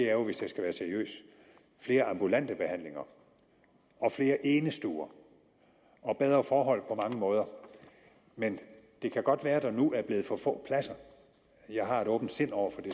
er jo hvis jeg skal være seriøs flere ambulante behandlinger og flere enestuer og bedre forhold på mange måder men det kan godt være at der nu er blevet for få pladser og jeg har et åbent sind over for det